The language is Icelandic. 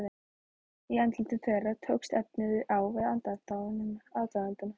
Í andlitum þeirra tókst efinn á við aðdáunina.